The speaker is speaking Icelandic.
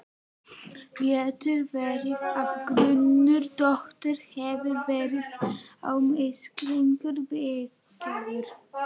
Getur verið að grunur Dodda hafi verið á misskilningi byggður?